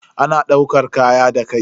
Ana daukar kaya da kai.